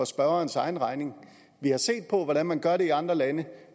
spørgerens egen regning vi har set på hvordan man gør det i andre lande